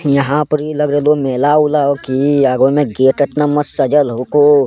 यहां परि लग रहलो है मेला-उला हो की आगो मे गेट एतना मस्त सजल होको।